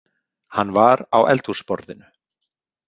Hann var á eldhúsborðinu